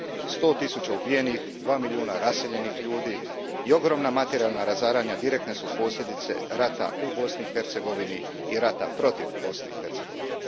Sto tisuća ubijenih, dva milijuna raseljenih osoba i ogromna materijalna razaranja direktne su posljedica rata u Bosni i Hercegovini i rata protiv Bosne i Hercegovine.